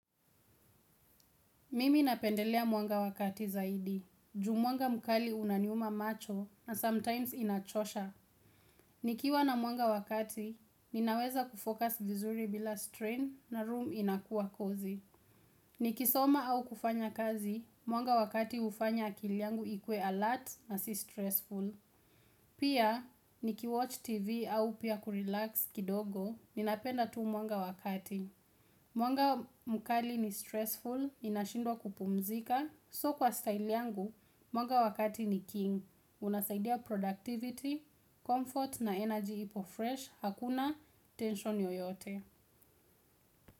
Mimi napendelea mwanga wa kati zaidi. Juu mwanga mkali unaniuma macho na sometimes inachosha. Nikiwa na mwanga wa kati, ninaweza kufocus vizuri bila strain na room inakuwa cosy. Nikisoma au kufanya kazi, mwanga wa kati hufanya akili yangu ikuwe alert na si stressful. Pia, nikiwatch tv au pia kurelax kidogo, ninapenda tu mwanga wa kati. Mwanga mkali ni stressful, inashindwa kupumzika. So kwa style yangu, mwanga wa kati ni king. Unasaidia productivity, comfort na energy ipo fresh. Hakuna tension yoyote.